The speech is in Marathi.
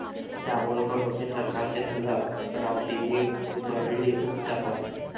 दाभोलकर होते सरकारचे दलाल, रावतेंनी उधळली मुक्ताफळं